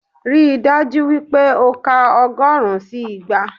Ríi dájú wípé o ka ọgọ́rùn-ún sí igba